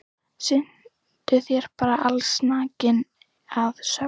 Syntu þar bara allsnakin að sögn.